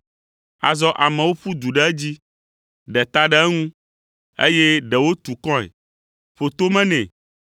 Azɔ amewo ƒu du ɖe edzi, ɖe ta ɖe eŋu, eye ɖewo tu kɔe, ƒo tome nɛ